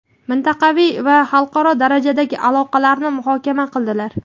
mintaqaviy va xalqaro darajadagi aloqalarni muhokama qildilar.